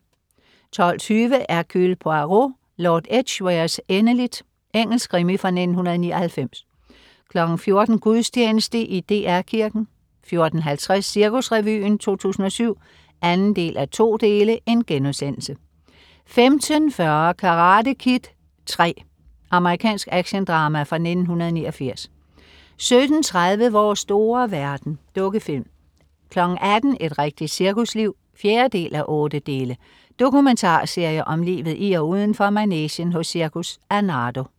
12.20 Hercule Poirot: Lord Edgwares endeligt. Engelsk krimi fra 1999 14.00 Gudstjeneste i DR Kirken 14.50 Cirkusrevyen 2007 2:2* 15.40 Karate Kid III. Amerikansk actiondrama fra 1989 17.30 Vores store verden. Dukkefilm 18.00 Et rigtigt cirkusliv 4:8. Dokumentarserie om livet i og udenfor manegen hos Cirkus Arnardo